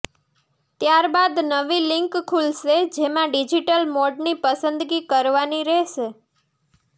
ત્યારબાદ નવી લિન્ક ખુલશે જેમાં ડિજિટલ મોડની પસંદગી કરવાની રહેશે